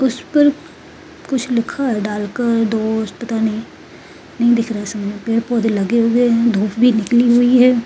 उसे पर कुछ लिखा है डाल परदोस्त पता नहीं दिख रहा है पौधे लगे हुए हैं धुप भी निकली हुई है।